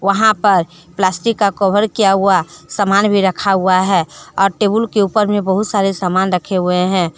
वहां पर प्लास्टिक का कवर किया हुआ सामान भी रखा हुआ है और टेबल के ऊपर में बहुत सारे सामान रखे हुए हैं।